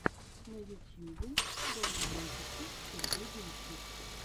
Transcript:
на ютьюбе шоу музыка сергей грищук